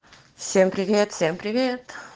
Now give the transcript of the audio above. всем привет всем привет